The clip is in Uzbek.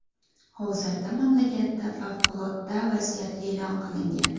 Hozirda mamlakatda favqulodda vaziyat e’lon qilingan.